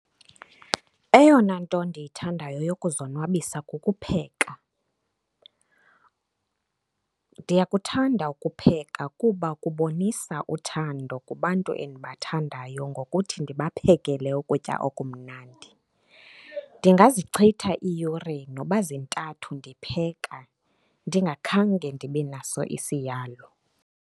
Eyona nto ndiyithandayo yokuzonwabisa kukupheka. Ndiyakuthanda ukupheka kuba kubonisa uthando kubantu endibathandayo ngokuthi ndibaphekele ukutya okumnandi. Ndingazichitha iiyure noba zintathu ndipheka ndingakhange ndibe naso isiyalo.